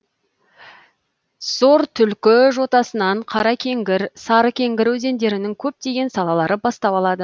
зортүлкі жотасынан қаракеңгір сарыкеңгір өзендерінің көптеген салалары бастау алады